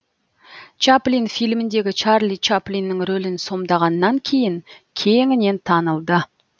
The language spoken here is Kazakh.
чаплин фильміндегі чарли чаплиннің рөлін сомдағаннан кейін кеңінен танылды